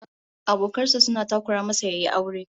Abokan sa suna takura masa yayi aure